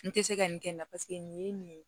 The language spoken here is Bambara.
N tɛ se ka nin kɛ n na paseke nin ye nin ye